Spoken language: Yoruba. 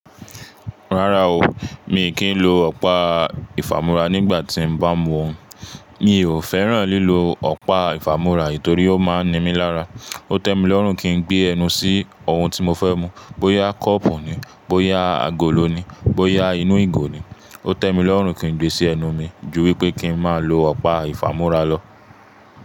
Rárá o, mi kì í lo ọ̀pá ìfàmúrà nígbà tí n bá mu ohun. Mi ò fẹ́ràn lílo ọ̀pá ìfàmúrà torí ó máa ń ni mí lára. Ó tẹ́ mi lọ́rùn kí n gbé ẹnu sí ohun tí mo fẹ́ mu. Bóyá kọ́ọ̀pù ni, bóyá agolo ni, bóyá inú ìgò ni, ó tẹ́ mi lọ́rùn kí n gbé sí ẹnu mi ju wípé kí n máa lo ọ̀pá ìfàmúrà lọ.